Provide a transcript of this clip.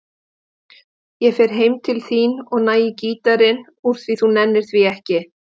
Ég fer heim til þín og næ í gítarinn úr því þú nennir því ekki.